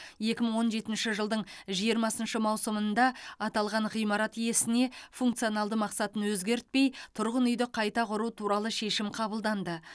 екі мың он жетінші жылдың жиырмасыншы маусымында аталған ғимарат иесіне функционалды мақсатын өзгертпей тұрғын үйді қайта құру туралы шешім қабылданды